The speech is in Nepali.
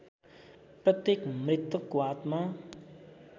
प्रत्येक मृतकको आत्मा